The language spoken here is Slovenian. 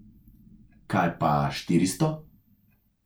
Kaj pa štiristo?